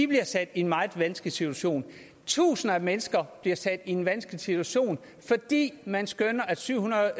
bliver sat i en meget vanskelig situation tusinder af mennesker bliver sat i en vanskelig situation fordi man skønner at syv hundrede